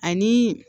Ani